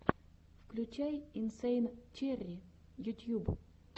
включай инсэйн черри ютьюб